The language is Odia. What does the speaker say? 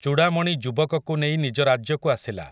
ଚୂଡ଼ାମଣି ଯୁବକକୁ ନେଇ ନିଜ ରାଜ୍ୟକୁ ଆସିଲା ।